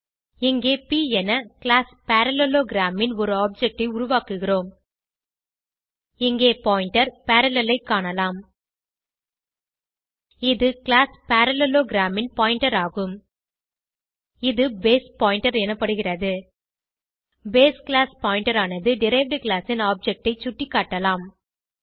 இங்கே ப் என கிளாஸ் பரல்லேலோகிராம் ன் ஒரு ஆப்ஜெக்ட் ஐ உருவாக்குகிறோம் இங்கே பாயிண்டர் பரல்லேல் ஐ காணலாம் இது கிளாஸ் பரல்லேலோகிராம் ன் பாயிண்டர் ஆகும் இது பேஸ் பாயிண்டர் எனப்படுகிறது பேஸ் கிளாஸ் பாயிண்டர் ஆனது டெரைவ்ட் கிளாஸ் ன் ஆப்ஜெக்ட் ஐ சுட்டிக்காட்டலாம்